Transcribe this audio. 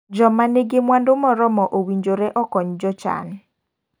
Joma nigi mwandu morormo owinjore okony jochan.